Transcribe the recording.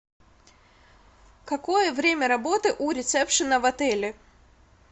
какое время работы у ресепшена в отеле